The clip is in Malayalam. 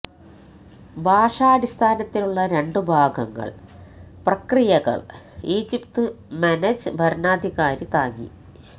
ഭാഷാടിസ്ഥാനത്തിലുള്ള രണ്ടു ഭാഗങ്ങൾ പ്രക്രിയകൾ ഈജിപ്ത് മെനെജ് ഭരണാധികാരി താങ്ങി